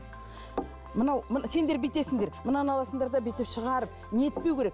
мынау сендер бүйтесіңдер мынаны аласыңдар да бүйтіп шығарып не етпеу керек